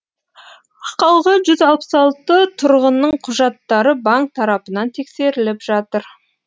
қалған жүз алпыс алты тұрғынның құжаттары банк тарапынан тексеріліп жатыр